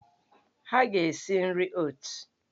Ha ga-si nri oot!